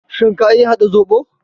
Shin ka iya haɗa zobo?